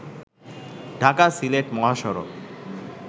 ঢাকা-সিলেট মহাসড়ক